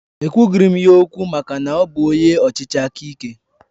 Ekwughiri m ya okwu maka na ọ bụ onye ọchịchị aka ike